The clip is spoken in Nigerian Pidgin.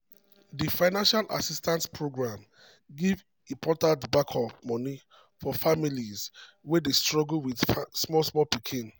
di financial assistance program give important backup money for families wey dey struggle with with small pikin.